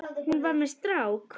Hún var með strák!